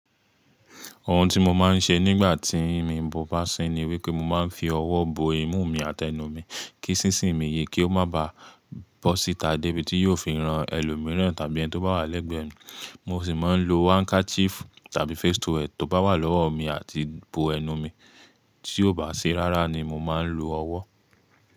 Ohun tí mo máa ń ṣe nígbà tí mi ń bú bá sí ni wípé mo máa ń fi ọwọ́ bo imú mi àti ẹnu mi kí sísìn mi yè kí ó má bá bọ́ síta débi tí yóò fi rán ẹlòmíràn tàbí ẹni tí ó bá wà lẹ́gbẹ̀ẹ́ mi. Mo sì máa ń lo handkerchief tàbí face towel tó bá wà lọ́wọ́ mi àti bo ẹnu mi, tí ó bá ṣi rárá ni mo máa ń lo ọwọ́.